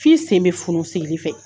F'i sen be funu sigili fɛ